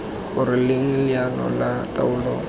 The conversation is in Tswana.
gore leng leano la taolo